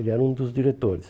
Ele era um dos diretores.